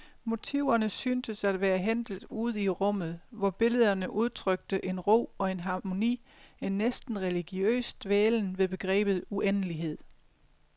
Motiverne syntes at være hentet ude i rummet, hvor billederne udtrykte en ro og en harmoni, en næsten religiøs dvælen ved begrebet uendelighed.